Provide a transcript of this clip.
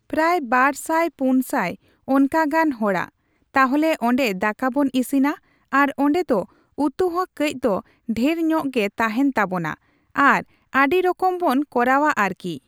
ᱯᱨᱟᱭ, ᱵᱟᱨᱥᱟᱭ ᱯᱩᱱᱥᱟᱭ ᱚᱱᱠᱟ ᱜᱟᱱ ᱦᱚᱲᱟᱜ ᱾ ᱛᱟᱞᱦᱮ ᱚᱸᱰᱮ ᱫᱟᱠᱟ ᱵᱚᱱ ᱤᱥᱤᱱᱟ ᱟᱨ ᱚᱸᱰᱮ ᱫᱚ ᱩᱛᱩ ᱦᱚᱸ ᱠᱟᱺᱪ ᱫᱚ ᱰᱷᱮᱨ ᱧᱚᱜ ᱜᱮ ᱛᱟᱦᱮᱱ ᱛᱟᱵᱚᱱᱟ ᱟᱨ ᱟᱹᱰᱤ ᱨᱚᱠᱚᱢ ᱵᱚᱱ ᱠᱚᱨᱟᱣᱟ ᱟᱨᱠᱤ᱾